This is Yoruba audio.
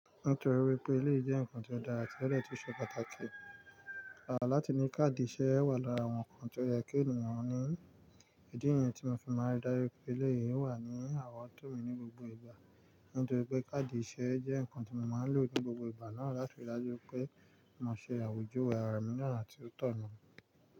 Nítorí wípé eléyi jẹ́ ǹnkan tó dára ti ọ̀ dẹ́ tun ṣe pàtàkì, à làti ní káàdì iṣẹ́ wà lára wọn ǹnkan tí ó yẹ kí ènìyàn ní. Ìdí nyín tí mo fi máa ń darí pé eléyìí o wà ní àrowọ̀tó mi ní gbogbo ìgbà, nítorí pé káàdì iṣẹ́ jẹ́ ǹnkan tí mo máa ń lò ní gbogbo ìgbà náà láti rí i dájú wipé mo ṣe àwùjọ àrà mí ni onà ti o tọ̀nà.